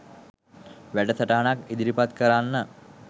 වැටසටහනක් ඉදිරිපත් කරන්න